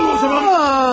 Al o zaman!